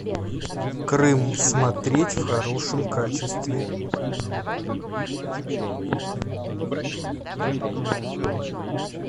крым смотреть в хорошем качестве